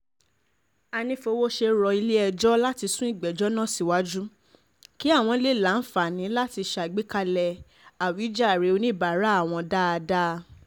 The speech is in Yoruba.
ànífowóṣe rọ ilé-ẹjọ́ láti sún ìgbẹ́jọ́ náà síwájú kí àwọn lè láǹfààní láti ṣàgbékalẹ̀ àwíjàre oníbàárà àwọn dáadáa